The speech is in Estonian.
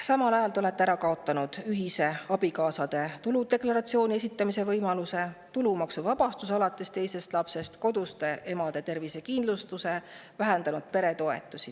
Samal ajal olete te ära kaotanud abikaasade ühise tuludeklaratsiooni esitamise võimaluse, tulumaksuvabastuse alates teisest lapsest, koduste emade tervisekindlustuse ja vähendanud peretoetusi.